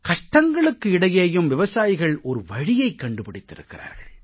கஷ்டங்களுக்கு இடையேயும் விவசாயிகள் ஒரு வழியைக் கண்டுபிடித்திருக்கிறார்கள்